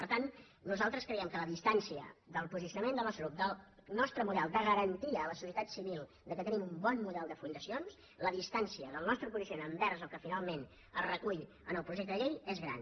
per tant nosaltres creiem que la distància del posicio·nament del nostre grup del nostre model de garantia a la societat civil que tenim un bon model de funda·cions la distància del nostre posicionament envers el que finalment es recull en el projecte de llei és gran